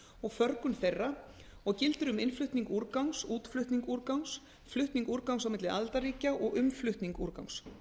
og förgun þeirra og gildir um innflutning úrgangs útflutning úrgangs flutning úrgangs á milli aðildarríkja og umflutning úrgangs